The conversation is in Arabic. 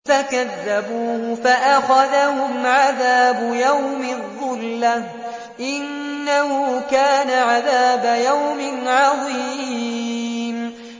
فَكَذَّبُوهُ فَأَخَذَهُمْ عَذَابُ يَوْمِ الظُّلَّةِ ۚ إِنَّهُ كَانَ عَذَابَ يَوْمٍ عَظِيمٍ